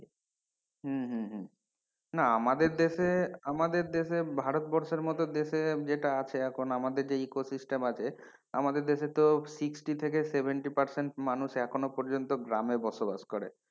হম হম হম না আমাদের দেশে আমাদের দেশে ভারতবর্ষের মতো দেশে যেটা আছে এখন আমাদের যে eco system আছে, আমাদের দেশে তো sixty থেকে seventy percent মানুষ এখনো গ্রামে বসবাস করে,